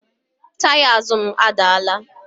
Yaya azụ m adaala